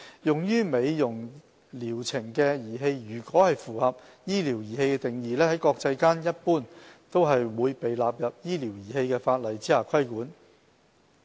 用於美容療程的儀器如果符合"醫療儀器"定義，在國際間一般都會被納入醫療儀器法例下規管。